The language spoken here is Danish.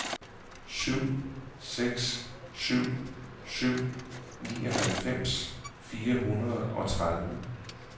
syv seks syv syv nioghalvfems fire hundrede og tredive